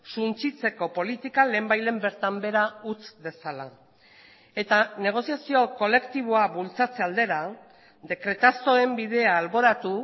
suntsitzeko politika lehenbailehen bertan behera utz dezala eta negoziazio kolektiboa bultzatze aldera dekretazoen bidea alboratu